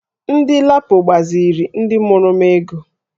Ndị LAPO gbaziri ndị mụrụ m ego